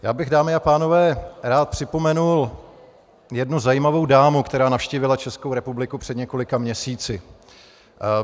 Já bych, dámy a pánové, rád připomenul jednu zajímavou dámu, která navštívila Českou republiku před několika měsíci.